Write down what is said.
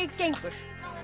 gengur